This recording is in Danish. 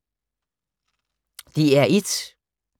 DR1